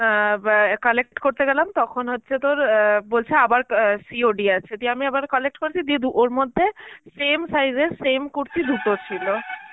অ্যাঁ ব্যা collect করতে গেলাম তখন হচ্ছে তোর অ্যাঁ বলছে আবার অ্যাঁ COD আছে, যদি আমি আবার collect ওর মধ্যে same size এর same কুর্তি দুটো ছিল.